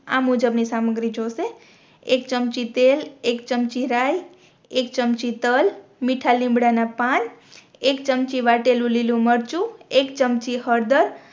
આ મુજબ ની સામગ્રી જોઈશે એક ચમચી તેલ એક ચમચી રાય એક ચમચી તલ મીઠા લીમડા ના પાન એક ચમચી વાટેલું લીલું મરચું એક ચમચી હળદર